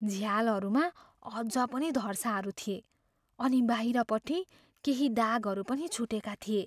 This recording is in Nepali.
झ्यालहरूमा अझ पनि धर्साहरू थिए अनि बाहिरपट्टि केही दागहरू पनि छुटेका थिए।